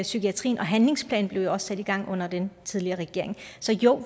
psykiatrien og handlingsplanen blev jo også sat i gang under den tidligere regering så jo